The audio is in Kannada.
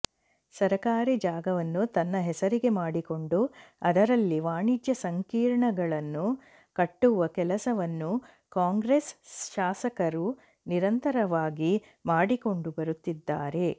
ಸರಕಾರಿ ಜಾಗವನ್ನು ತನ್ನ ಹೆಸರಿಗೆ ಮಾಡಿಕೊಂಡು ಅದರಲ್ಲಿ ವಾಣಿಜ್ಯ ಸಂಕೀರ್ಣಗಳನ್ನು ಕಟ್ಟುವ ಕೆಲಸವನ್ನು ಕಾಂಗ್ರೆಸ್ ಶಾಸಕರು ನಿರಂತರವಾಗಿ ಮಾಡಿಕೊಂಡು ಬರುತ್ತಿದ್ದಾರೆ